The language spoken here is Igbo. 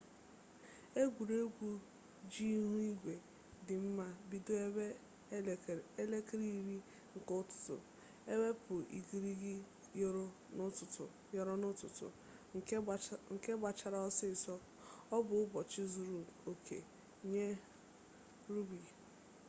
egwuregwu ji ihu igwe dị mma bido ebe elekere iri nke ụtụtụ ewepụ igirigi yọrọ n'ụtụtụ nke gbachara ọsịsọ ọ bụ ụbọchị zuru oke nye 7's rugbi